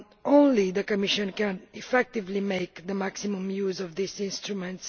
Only the Commission can effectively make the maximum use of this instrument.